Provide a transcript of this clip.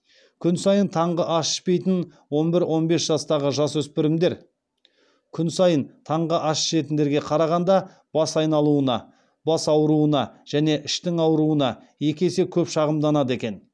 күн сайын таңғы ас ішпейтін он бір он бес жастағы жасөспірімдер күн сайын таңғы ас ішетіндерге қарағанда бас айналуына бас ауруына және іштің ауыруына екі есе көп шағымданады екен